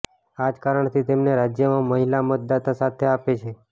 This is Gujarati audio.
આ જ કારણથી તેમને રાજ્યમાં મહિલા મતદાતા સાથ આપે છે